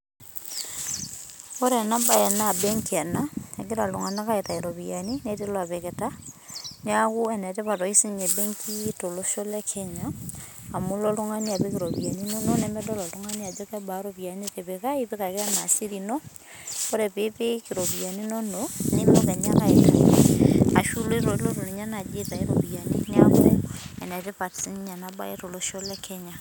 Ore enabae na benki ena, egira iltung'anak aitayu iropiyiani netii lopikita, niaku enetipat oshi sinye benki tolosho le Kenya, amu ilo oltung'ani apik iropiyiani inonok nemedol oltung'ani ajo kebaa iropiyiani nitipika, ipik ake enaa siri ino, ore pipik iropiyiani inonok, nilo kenya aitayu. Ashu lotu ninye nai aitau ropiyiani niaku enetipat sinye enabae tolosho le Kenya.